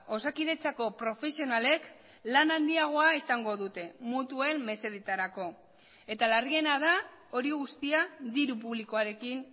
osakidetzako profesionalek lan handiagoa izango dute mutuen mesedetarako eta larriena da hori guztia diru publikoarekin